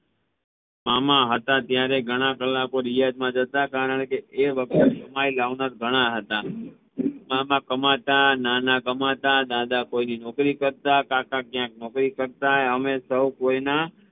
મામા હતા ત્યારે ઘણા કલાકો રિયાઝ માં જતા કારણકે એ વખતે એમાં એ વધારે હતા મામા કમાતા નાના કમાતા દાદા કોઈની નોકરી કરતા કાકા ક્યાંક નોકરી કરતા અમે સૌ કોયના